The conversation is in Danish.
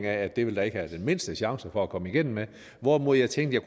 at det ville der ikke være den mindste chance for at komme igennem med hvorimod jeg tænkte at